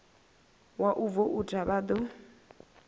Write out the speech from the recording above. wa u voutha vha ḓo